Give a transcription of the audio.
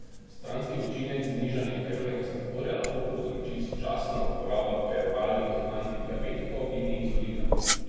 Stranski učinek znižanje krvnega sladkorja lahko povzroči sočasna uporaba peroralnih antidiabetikov in inzulina.